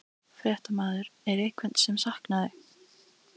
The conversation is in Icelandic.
Fréttamaður: Er einhvern sem sakaði?